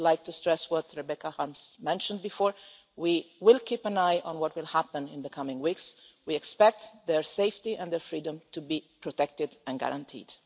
I would like to stress as Rebecca Harms mentioned earlier that we will keep an eye on what happens in the coming weeks. We expect their safety and freedom to be protected and guaranteed.